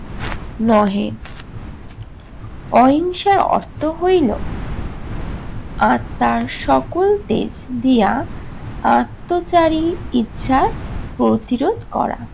নহে অহিংসার অর্থ হইল আত্নার সকল তেজ দিয়া আত্নচারি ইচ্ছার প্রতিরোধ করা।